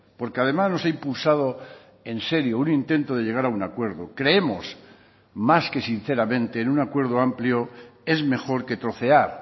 porque además nos ha impulsado en serio un intento de llegar a un acuerdo creemos más que sinceramente en un acuerdo amplio es mejor que trocear